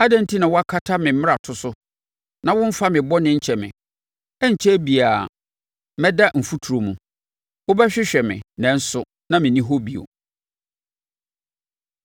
Adɛn enti na wonkata me mmarato so na womfa me bɔne nkyɛ me? Ɛrenkyɛre biara, mɛda mfuturo mu. Wobɛhwehwɛ me nanso na menni hɔ bio.”